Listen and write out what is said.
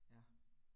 Ja